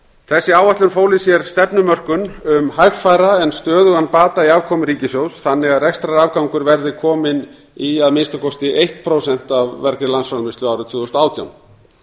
þessi áætlun fól í sér stefnumörkun um hægfara en stöðugan bata í afkomu ríkissjóðs þannig að rekstrarafgangur verði kominn í að minnsta kosti eitt prósent af vergri landsframleiðslu árið tvö þúsund og átján